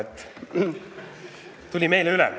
Ta tuli meile üle.